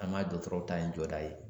An m'a dɔtɔrɔ ta in jɔda ye